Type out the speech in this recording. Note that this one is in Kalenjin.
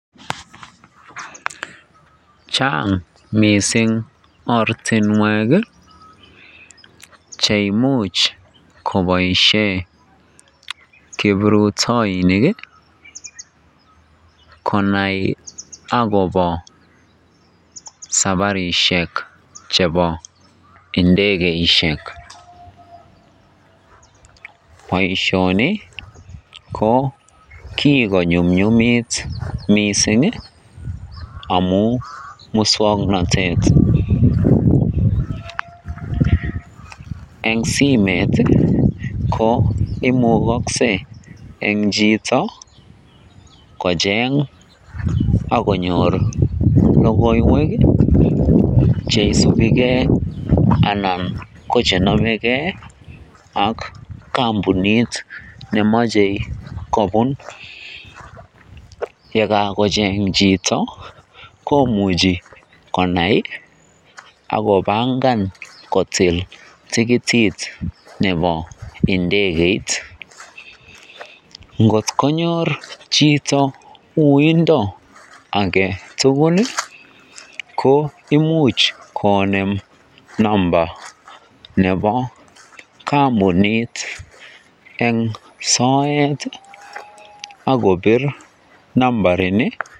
Chang' mising' ortinwek cheimuch koboishen kiprutoinik konai akobo sabarishek chebo indekeishek, boishoni ko kikonyumnyumit mising' amun muswoknotet, eng simeit ko imukokse en chito kocheng ak konyor lokoiwek cheisubike anan ko chenomeke ak kombunit nemoche kobun, yekakocheng' chito komuche konai ak kobangan kotil tikitit nebo ndekeit, ngot konyor chito uindo aketukul ko imuch konem namba nebo kombunit en soet ak kobir nambarini.